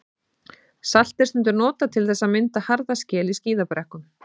Salt er stundum notað til þess að mynda harða skel í skíðabrekkum.